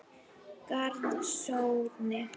Garðshorni